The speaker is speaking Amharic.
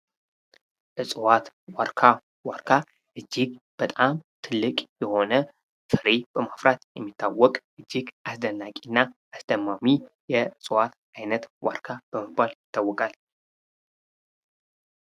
እጽዋት ዋርካ። ዋርካ እጅግ በጣም ትልቅ የሆነ ፍሬ በማፍራት የሚታወቅ እጅግ አስደናቂና አስደማሚ የዕጽዋት አይነት ዋርካ በመባል ይታወቃል።